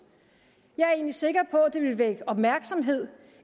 jeg er egentlig sikker på at det ville vække opmærksomhed